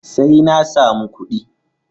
Sai na samu kuɗi.